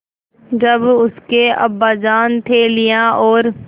जब उसके अब्बाजान थैलियाँ और